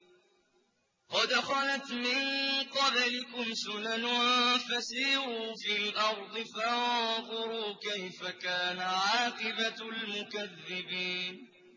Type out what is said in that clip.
قَدْ خَلَتْ مِن قَبْلِكُمْ سُنَنٌ فَسِيرُوا فِي الْأَرْضِ فَانظُرُوا كَيْفَ كَانَ عَاقِبَةُ الْمُكَذِّبِينَ